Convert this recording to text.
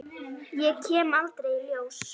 Ég kem aldrei í ljós.